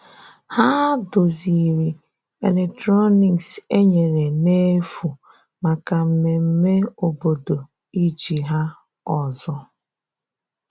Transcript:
Hà dozièrị̀ eletrọnịks e nyerè n’efu maka mmemme obodo iji ha ọzọ.